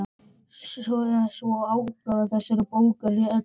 Sé svo er útgáfa þessarar bókar réttlætanleg.